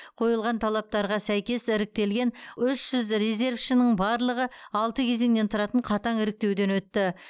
қойылған талаптарға сәйкес іріктелген үш жүз резервшінің барлығы алты кезеңнен тұратын қатаң іріктеуден өтті